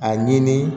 A ɲini